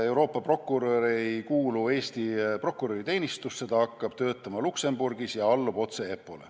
Euroopa prokurör ei kuulu Eesti prokuröriteenistusse, ta hakkab töötama Luxembourgis ja allub otse EPPO-le.